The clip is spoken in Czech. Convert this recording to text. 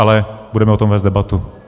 Ale budeme o tom vést debatu.